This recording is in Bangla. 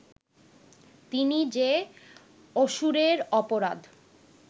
তিনি যে অসুরের অপরাধ